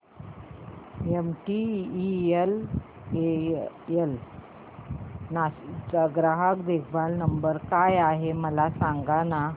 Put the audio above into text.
MTNL Nashik चा ग्राहक देखभाल नंबर काय आहे मला सांगाना